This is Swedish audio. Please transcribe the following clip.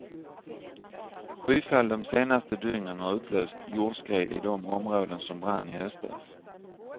Skyfall de senaste dygnen har utlöst jordskred i de områden som brann i höstas.